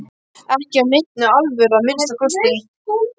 Ekki af neinni alvöru að minnsta kosti.